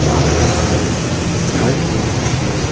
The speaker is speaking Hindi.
वाल का कलर वाइट कलर का है।